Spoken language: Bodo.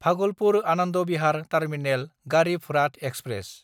Bhagalpur-Anand Bihar terminal Garib Rath express